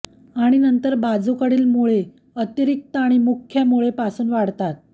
आणि नंतर बाजूकडील मुळे अतिरिक्त आणि मुख्य मुळे पासून वाढतात